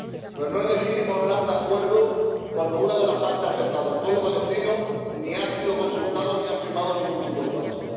Pero no es legítimo hablar de acuerdo cuando una de las partes afectadas, el pueblo palestino, ni ha sido consultado ni ha firmado ningún tipo de pacto.